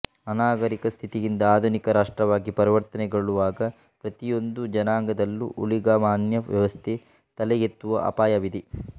ಅನಾಗರಿಕ ಸ್ಥಿತಿಯಿಂದ ಆಧುನಿಕ ರಾಷ್ಟ್ರವಾಗಿ ಪರಿವರ್ತನೆಗೊಳ್ಳುವಾಗ ಪ್ರತಿಯೊಂದು ಜನಾಂಗದಲ್ಲೂ ಊಳಿಗಮಾನ್ಯ ವ್ಯವಸ್ಥೆ ತಲೆಯೆತ್ತುವ ಅಪಾಯವಿದೆ